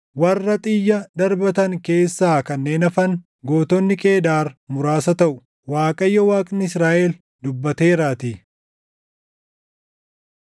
Warra xiyya darbatan keessaa kanneen hafan, gootonni Qeedaar muraasa taʼu.” Waaqayyo Waaqni Israaʼel dubbateeraatii.